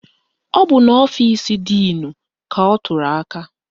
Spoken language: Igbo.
Ọ bụ n'ọfisi díìnu ka ọ tụrụ aka